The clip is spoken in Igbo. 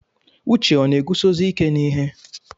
Uche ọ na-eguzosi ike n'ihe?